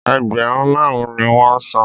Ẹgbẹ̀rún máàrún ni wọn san